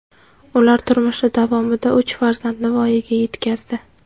Ular turmushi davomida uch farzandni voyaga yetkazdi.